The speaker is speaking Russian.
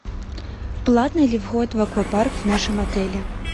платный ли вход в аквапарк в нашем отеле